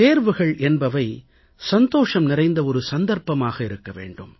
தேர்வுகள் என்பவை சந்தோஷம் நிறைந்த ஒரு சந்தர்ப்பமாக இருக்க வேண்டும்